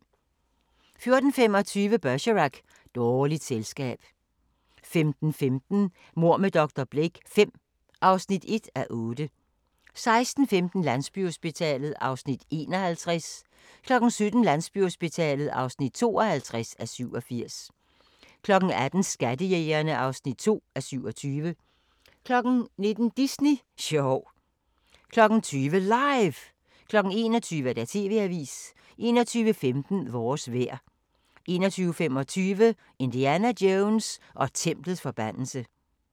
14:25: Bergerac: Dårligt selskab 15:15: Mord med dr. Blake V (1:8) 16:15: Landsbyhospitalet (51:87) 17:00: Landsbyhospitalet (52:87) 18:00: Skattejægerne (2:27) 19:00: Disney sjov 20:00: LIVE! 21:00: TV-avisen 21:15: Vores vejr 21:25: Indiana Jones og templets forbandelse